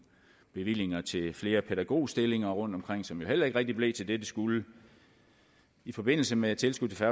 bevillinger til flere pædagogstillinger rundtomkring som jo heller ikke rigtig blev til det det skulle i forbindelse med tilskud til